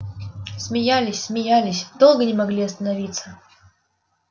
смеялись смеялись долго не могли остановиться